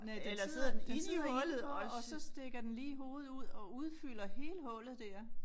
Næ den sidder den sidder indenfor og så stikker den lige hovedet ud og udfylder hele hullet dér